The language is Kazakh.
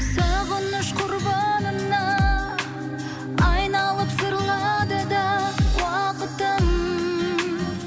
сағыныш құрбанына айналып зырлады да уақытым